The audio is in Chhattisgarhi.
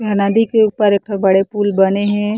यहाँ नदी के ऊपर एक ठो बड़े पुल बने हे।